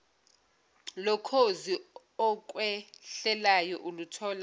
lokhozi okhwehlelayo uluthola